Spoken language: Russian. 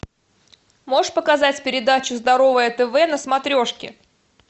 можешь показать передачу здоровое тв на смотрешке